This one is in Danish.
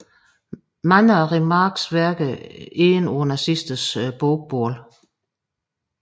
Mange af Remarques værker endte på nazisternes bogbål